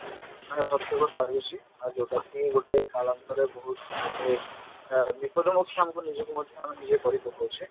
ମାନେ ଭକ୍ଷକ ସାଜୁଛି ମାନେ ଯଉଟାକି ଗୋଟେ କାଳନ୍ତରେ ବହୁତ ଗୋଟେ ଆ ବିପଦ ମୁଖ ଆମ ନିଜକୁ ମଧ୍ୟ ଆମେ ନିଜେ କରିପକଉଛେ